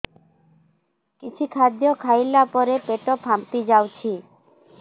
କିଛି ଖାଦ୍ୟ ଖାଇଲା ପରେ ପେଟ ଫାମ୍ପି ଯାଉଛି